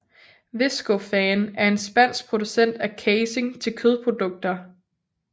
Viscofan er en spansk producent af casing til kødprodukter